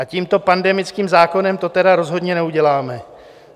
A tímto pandemickým zákonem to tedy rozhodně neuděláme.